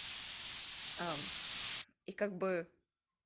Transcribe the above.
а и как бы